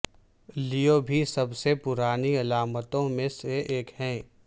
لیو بھی سب سے پرانی علامتوں میں سے ایک ہے